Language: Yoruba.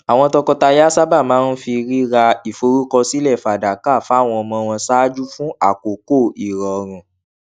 àwọn tọkọtaya tuntun sábà máa ń fi rírà ìforúkọsílẹ fàdákà fáwọn ọmọ wọn ṣáájú fún àkókò ìròrùn